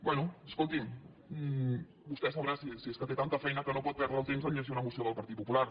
bé escolti’m vostè sabrà si és que té tanta feina que no pot perdre el temps a llegir una moció del partit popular